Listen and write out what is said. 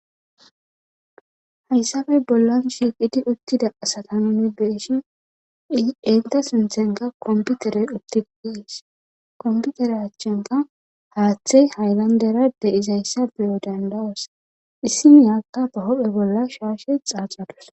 Haysappe bollan shiqid eqida sata nun beyishin eta sinthanka computerey utid Des, computera achanka hathey haylandera de'zaysa beyo danda'os, issinika be hu'en bolla shaashe xaxadus.